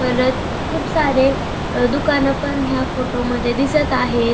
परत खूप सारे अ दुकान पण ह्या फोटो मध्ये दिसत आहे.